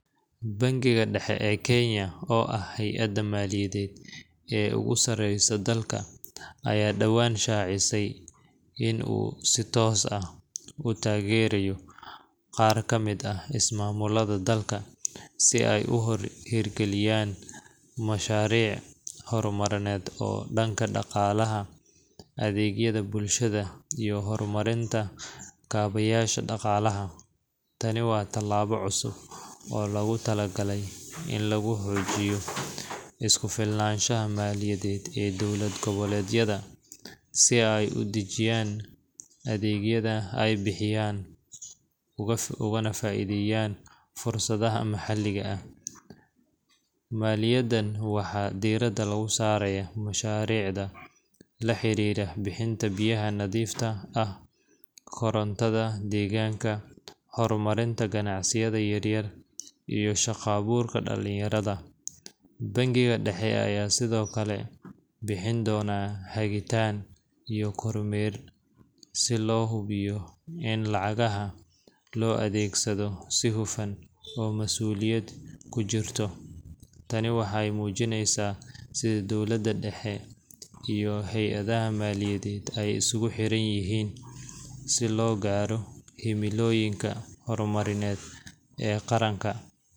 Bankiga Dhexe ee Kenya, oo ah hay’adda maaliyadeed ee ugu sareysa dalka, ayaa dhawaan shaacisay in uu si toos ah u taageerayo qaar ka mid ah ismaamullada dalka si ay u hirgeliyaan mashaariic horumarineed oo dhanka dhaqaalaha, adeegyada bulshada, iyo horumarinta kaabeyaasha dhaqaalaha. Tani waa tallaabo cusub oo loogu talagalay in lagu xoojiyo isku filnaanshaha maaliyadeed ee dowlad goboleedyada, si ay u dedejiyaan adeegyada ay bixiyaan ugana faa’iideystaan fursadaha maxalliga ah. Maaliyaddan waxaa diiradda lagu saarayaa mashaariicda la xiriira bixinta biyaha nadiifta ah, korontada deegaanka, horumarinta ganacsiyada yaryar, iyo shaqo-abuurka dhallinyarada. Bankiga Dhexe ayaa sidoo kale bixin doona hagitaan iyo kormeer si loo hubiyo in lacagaha loo adeegsado si hufan oo mas’uuliyadi ku jirto. Tani waxay muujinaysaa sida dowladda dhexe iyo hay’adaha maaliyadeed ay isugu xiran yihiin si loo gaaro himilooyinka horumarineed ee qaran.